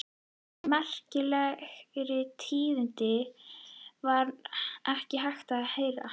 Merkilegri tíðindi var ekki hægt að heyra.